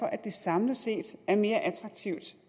at det samlet set er mere attraktivt